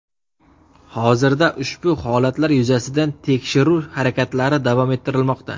Hozirda ushbu holatlar yuzasidan tekshiruv harakatlari davom ettirilmoqda.